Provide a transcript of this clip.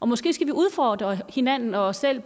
måske skal vi udfordre hinanden og os selv i